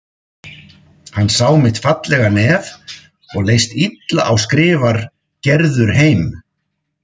Hann sá mitt fallega nef og leist illa á skrifar Gerður heim.